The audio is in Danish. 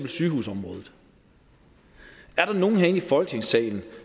sygehusområdet er der nogen herinde i folketingssalen